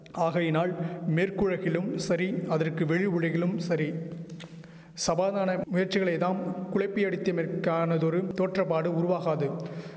ஆகையினால் மேற்குலகிலும் சரி அதற்கு வெளி உலகிலும் சரி சபாதான முயற்சிகளை தாம் குழப்பியடித்தமைக்கானதொரு தோற்றபாடு உருவாகாது